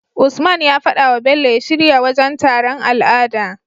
Usman ya fadawa bello ya shirya wajan taron al'ada